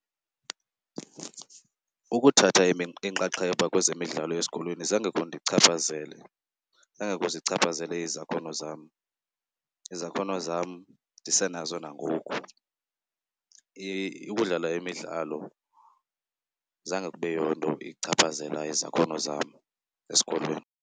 Ukuthatha inxaxheba kwezemidlalo esikolweni zange kundichaphazele, zange kuzichaphazele izakhono zam. Izakhono zam ndisenazo nangoku. Ukudlala imidlalo zange kube yonto ichaphazela izakhono zam esikolweni.